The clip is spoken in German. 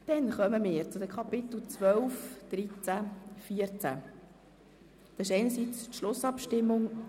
Jetzt kommen wir zu den Themenblöcken 12, 13 und 14.